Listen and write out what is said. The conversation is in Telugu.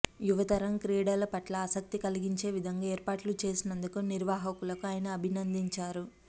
యువతరం క్రీడల పట్ల ఆసక్తి కలిగించే విధంగా ఏర్పాట్లు చేసినందుకు నిర్వాహకులను ఆయన అభినందించారు